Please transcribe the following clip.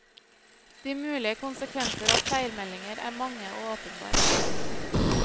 De mulige konsekvenser av feilmeldinger er mange og åpenbare.